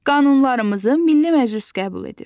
Qanunlarımızı Milli Məclis qəbul edir.